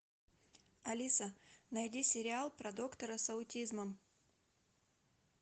алиса найди сериал про доктора с аутизмом